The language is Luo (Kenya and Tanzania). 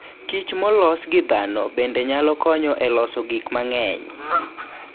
kich molos gi dhano bende nyalo konyo e loso gik mang'eny.